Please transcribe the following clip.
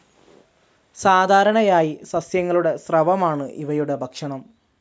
സാധാരണയായി സസ്യങ്ങളുടെ സ്രവമാണ് ഇവയുടെ ഭക്ഷണം.